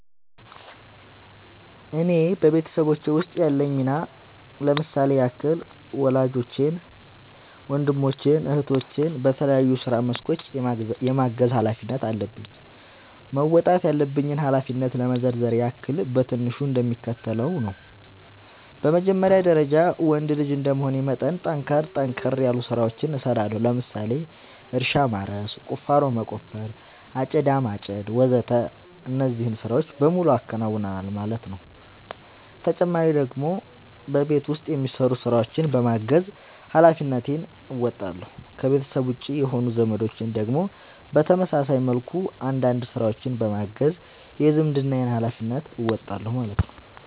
እኔ በቤተሰቦቼ ውስጥ ያለኝ ሚና ለምሳሌ ያክል ወላጆቼን ወንድሞቼን እህቶቼን በተለያዩ የስራ መስኮች የማገዝ ኃላፊነት አለብኝ። መወጣት ያለብኝን ኃላፊነት ለመዘርዘር ያክል በትንሹ እንደሚከተለው ነው በመጀመሪያ ደረጃ ወንድ ልጅ እንደመሆኔ መጠን ጠንከር ጠንከር ያሉ ስራዎችን እሰራለሁ ለምሳሌ እርሻ ማረስ፣ ቁፋሮ መቆፈር፣ አጨዳ ማጨድ ወዘተ እነዚህን ስራዎች በሙሉ አከናውናል ማለት ነው ተጨማሪ ደግሞ በቤት ውስጥ የሚሰሩ ስራዎችን በማገዝ ሃላፊነትን እንወጣለሁ። ከቤተሰቤ ውጪ የሆኑት ዘመዶቼን ደግሞ በተመሳሳይ መልኩ አንዳንድ ስራዎችን በማገዝ የዝምድናዬን ሀላፊነት እወጣለሁ ማለት ነው